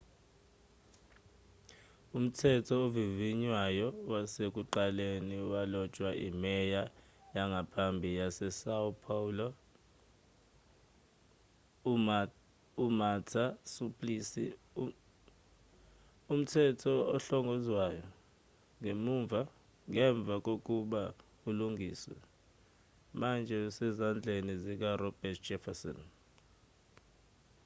umthetho ovivinywayo wasekuqaleni walotshwa imeya yangaphambili yasesão paulo umarta suplicy. umthetho ohlongozwayo ngemva kokuba ulungiswe manje usezandleni zikaroberto jefferson